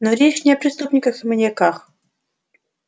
но речь не о преступниках и маньяках